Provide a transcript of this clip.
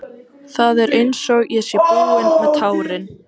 Það er einsog ég sé búin með tárin.